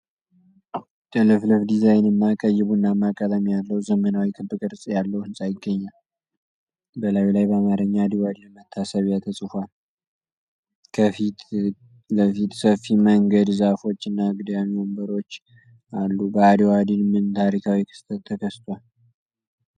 ጥልፍልፍ ዲዛይንና ቀይ-ቡናማ ቀለም ያለው ዘመናዊ ክብ ቅርጽ ያለው ህንጻ ይገኛል። በላዩ ላይ በአማርኛ "የአድዋ ድል መታሰቢያ" ተጽፏል። ከፊት ለፊት ሰፊ መንገድ፣ ዛፎች እና አግዳሚ ወንበሮች አሉ። በአድዋ ድል ምን ታሪካዊ ክስተት ተከስቷል?